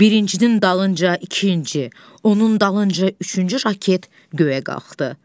Birincinin dalınca ikinci, onun dalınca üçüncü raket göyə qalxdı.